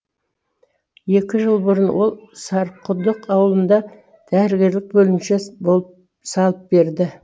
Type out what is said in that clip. екі жыл бұрын ол сарықұдық ауылында дәрігерлік бөлімше салып берді